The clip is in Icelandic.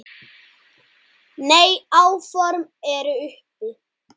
Nei, áform eru uppi